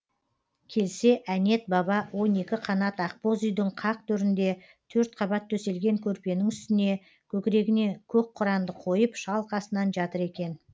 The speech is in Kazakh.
келсе әнет баба он екі қанат ақбоз үйдің қақ төрінде төрт қабат төселген көрпенің үстіне көкірегіне көк құранды қойып шалқасынан жатыр екен